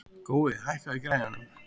Gói, hækkaðu í græjunum.